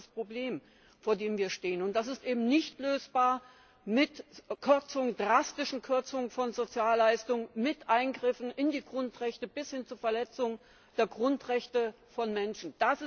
Das ist das Problem, vor dem wir stehen, und das ist eben nicht lösbar mit drastischen Kürzungen von Sozialleistungen, mit Eingriffen in die Grundrechte bis hin zur Verletzung der Grundrechte von Menschen!